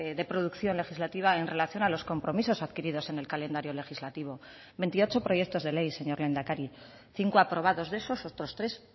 de producción legislativa en relación a los compromisos adquiridos en el calendario legislativo veintiocho proyectos de ley señor lehendakari cinco aprobados de esos otros tres